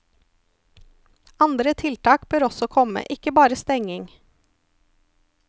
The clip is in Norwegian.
Andre tiltak bør også komme, ikke bare stenging.